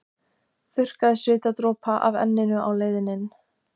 Þurrkaði svitadropa af enninu á leiðinni inn.